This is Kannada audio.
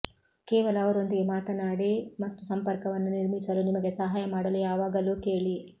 ಕೇವಲ ಅವರೊಂದಿಗೆ ಮಾತನಾಡಿ ಮತ್ತು ಸಂಪರ್ಕವನ್ನು ನಿರ್ಮಿಸಲು ನಿಮಗೆ ಸಹಾಯ ಮಾಡಲು ಯಾವಾಗಲೂ ಕೇಳಿ